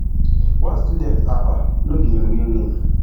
one student aba no be im real name